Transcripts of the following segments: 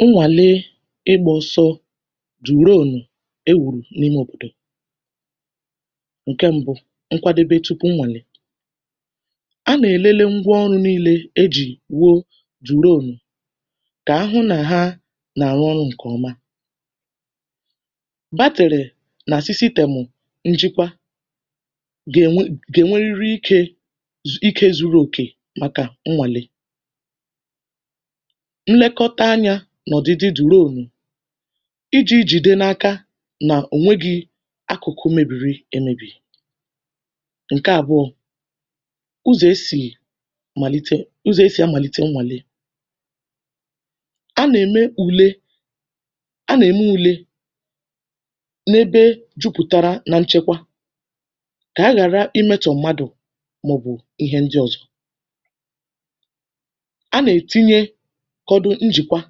Nnwàle ịgbȧ ọsọ dùrònù e wùrù n’ime òbodò. Ǹke mbụ, nkwadebe tupu nwàle. A nà-èlele ngwa ọrụ̇ niilė e jì wuo dùrònù kà ahụ nà ha nà-àrụ ọrụ̇ ǹkè ọma. Battery na sisystem njikwa gà-ènwe gà-ènweriri ike ike zuru òkè màkà nnwàle. Nlekọta anyȧ nọ̀dịdị durònù iji̇ jìde n’aka nà ònweghi̇ akụ̀kụ̀ mebiri emėbì. Ǹke àbụọ̇. Ụzọ̀ esì màlite ụzọ̀ esì amàlite mmàle. A nà-ème ùle a nà-ème ùle n’ebe jupùtara na nchekwa kà a ghàra imetọ̀ mmadù màọ̀bụ̀ ihe ndị ọ̀zọ. A nà-ètinye odu njikwa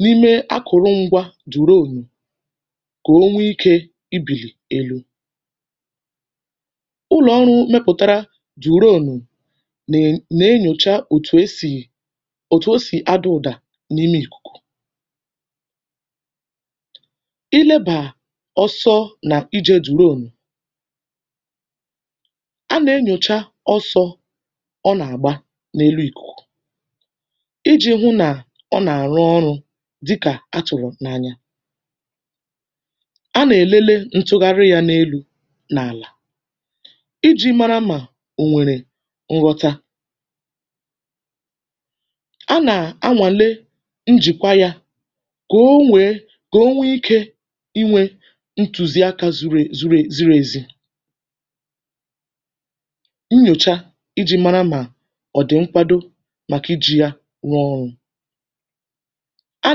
n’ime akụrụngwa dùrònù kà o nwee ikė i bìlì elu. Ụlọ̀ ọrụ̇ mepụ̀tara dùrònù nè nà-enyòcha òtù esì òtù esì adụ̇dà n’ime ìkùkù. I lebàa ọsọ nà ije dùrònù. A nà-enyòcha ọsọ ọ nà-àgba n’elu ìkùkù iji̇ hụ nà ọ nà-àrụ ọrụ̇ dịkà atụ̀rụ̀ n’anya. A nà-èlele ntụgharị ya n’elu̇ n’àlà iji̇ mara mà ò nwèrè nrọta. A nà-anwàle njìkwa ya kà o nwèe kà o nwee ikė inwė ntùzi akȧ zùrù ziriezi. Nnyòcha iji̇ mara mà ọ̀dị̀nkwado maka iji ya rụọ ọrụ. A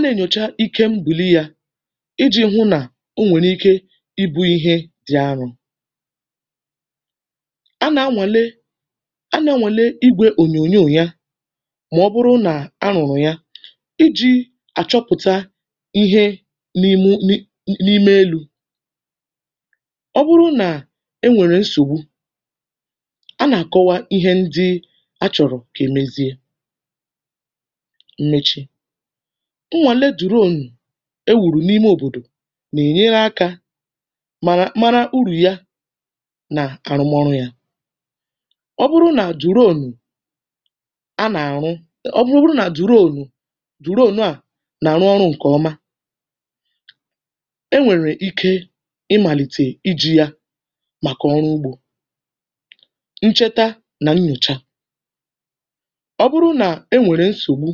nà-ènyòcha ike mbùri yȧ iji̇ hụ nà o nwèrè ike ibu̇ ihe dị̀ arụ̇. A nà-anwàle a nà-anwàle igwė ònyònyò ya mà ọ bụrụ nà a rụ̀rụ̀ ya iji̇ àchọpụ̀ta ihe n’imė n'ime elu̇. Ọ bụrụ nà e nwèrè nsògbu, a nà-àkọwa ihe ndị a chọ̀rọ̀ kà e mezie. Mmechi. Nwale dùrònù e wùrù n’ime òbòdò nà-ènyere akȧ màrà mara urù ya nà àrụ mọrụ yȧ. Ọ bụrụ nà dùrònù a nà àrụ ọ bụrụ bụrụ nà dùrònù dùrònù a nà àrụ ọrụ̇ ǹkè ọma, e nwèrè ike ịmàlìtè iji̇ yȧ màkà ọrụ ugbȯ. Ncheta nà nnyòcha. Ọ bụrụ nà e nwèrè nsògbu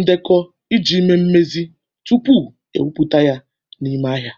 ndekọ iji̇ mee mmezi̇ tupu èwupụ̀ta yȧ n’ime ahịȧ.